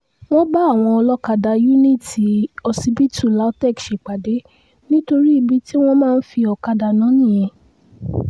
wọ́n bá àwọn olókàdá yuniiti ọsibítù lautech ṣèpàdé nítorí ibi tí wọ́n máa ń fi ọ̀kadà ná nìyẹn